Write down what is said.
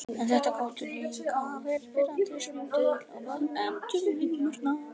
En þetta gátu líka verið pirrandi símtöl, á báðum endum línunnar.